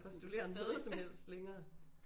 Postulere noget som helst længere